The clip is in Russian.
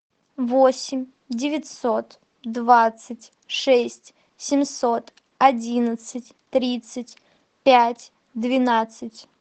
восемь девятьсот двадцать шесть семьсот одиннадцать тридцать пять двенадцать